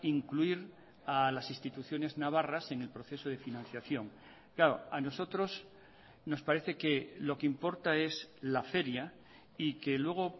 incluir a las instituciones navarras en el proceso de financiación claro a nosotros nos parece que lo que importa es la feria y que luego